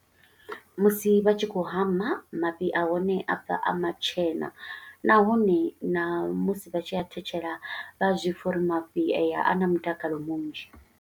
Musi vha tshi khou hama, mafhi a hone a bva a matshena, nahone na musi vha tshi a thetshela vha zwi pfa uri mafhi a ya, a na mutakalo munzhi.